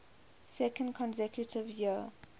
second consecutive year